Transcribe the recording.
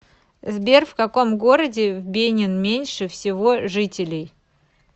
сбер в каком городе в бенин меньше всего жителей